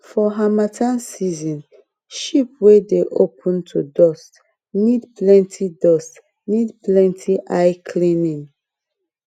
for harmattan season sheep wey dey open to dust need plenty dust need plenty eye cleaning